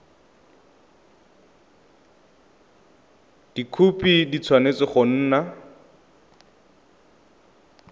dikhopi di tshwanetse go nna